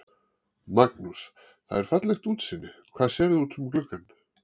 Magnús: Það er fallegt útsýni, hvað sérðu út um gluggana?